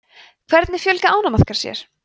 hvernig fjölga ánamaðkar sér